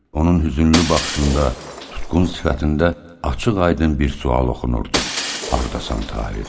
Onun hüznlü baxışında, tutqun sifətində açıq-aydın bir sual oxunurdu: Hardasan Tahir?